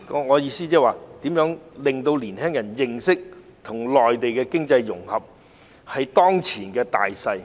我的意思是如何令年輕人認識到與內地的經濟融合，是當前的大勢。